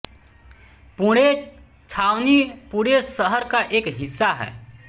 पुणे छावनी पुणे शहर का एक हिस्सा है